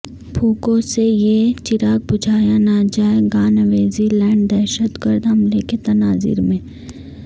پھونکوں سے یہ چراغ بجھایا نہ جائے گا نیوزی لینڈدہشت گرد حملہ کے تناظرمیں